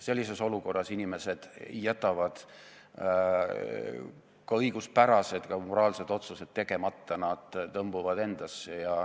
Sellises olukorras jätavad inimesed ka õiguspärased, ka moraalsed otsused tegemata, nad tõmbuvad endasse.